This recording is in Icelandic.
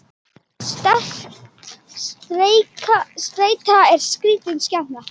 Streita er skrítin skepna.